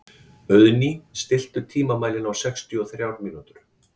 Auðný, stilltu tímamælinn á sextíu og þrjár mínútur.